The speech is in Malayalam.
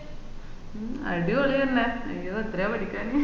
മ്മൂ അഡ്വളി തന്നെ അയ്യോ എത്രയാ പഠിക്കാന്